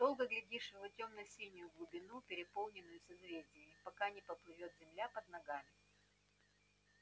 долго глядишь в тёмно-синюю глубину переполненную созвездиями пока не поплывёт земля под ногами